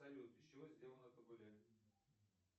салют из чего сделано табуле